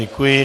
Děkuji.